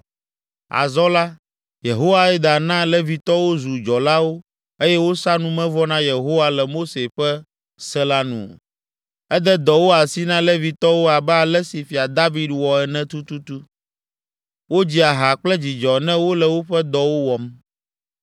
Azɔ la, Yehoiada na Levitɔwo zu dzɔlawo eye wosa numevɔ na Yehowa le Mose ƒe se la nu. Ede dɔwo asi na Levitɔwo abe ale si Fia David wɔ ene tututu. Wodzia ha kple dzidzɔ ne wole woƒe dɔwo wɔm.